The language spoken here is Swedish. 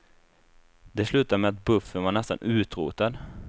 Det slutade med att buffeln var nästan utrotad.